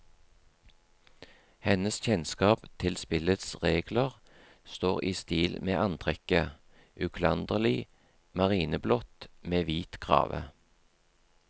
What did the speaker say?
Hennes kjennskap til spillets regler står i stil med antrekket, uklanderlig marineblått med hvit krave.